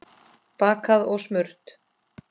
Bakað og smurt.